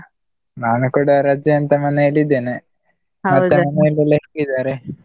ನಾನು ಕೂಡ ರಜೆ ಅಂತ ಮನೆಯಲ್ಲಿ ಇದ್ದೇನೆ, ಮನೆಯಲ್ಲೆಲ್ಲಾ ಹೇಗಿದ್ದಾರೆ?